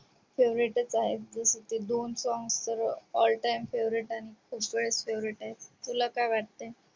favourite च आहेत जस की दोन song तर all time favorite आणि special favorite आहेत तुला काय वाटतय